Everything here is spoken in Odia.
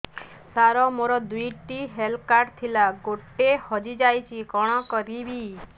ସାର ମୋର ଦୁଇ ଟି ହେଲ୍ଥ କାର୍ଡ ଥିଲା ଗୋଟେ ହଜିଯାଇଛି କଣ କରିବି